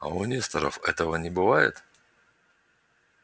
а у несторов этого не бывает